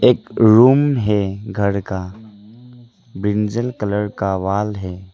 एक रूम है घर का ब्रिंजल कलर का वॉल है।